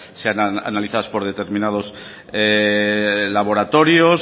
sean analizadas por determinados laboratorios